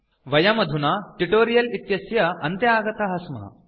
वयम् अधुना अस्य ट्यूटोरियल् इत्यस्य अन्ते आगताः स्मः